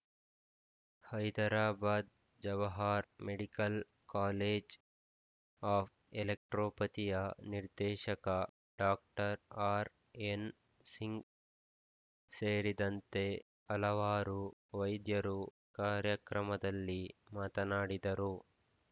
Hyderabad Jawahar medical college of ಎಲೆಕ್ಟ್ರೊಪತಿಯ ನಿರ್ದೇಶಕ doctor R N Singh ಸೇರಿದಂತೆ ಹಲವಾರು ವೈದ್ಯರು ಕಾರ್ಯಕ್ರಮದಲ್ಲಿ ಮಾತನಾಡಿದರು